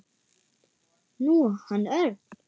Nú, hann Örn.